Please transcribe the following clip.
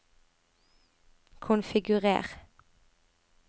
konfigurer